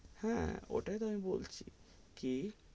হ্যাঁ, ওটাই তো আমি বলছি, কি,